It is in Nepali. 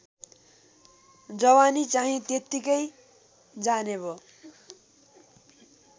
जवानीचाहिँ त्यत्तिकै जानेभो